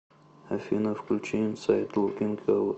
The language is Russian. афина включи инсайд лукинг аут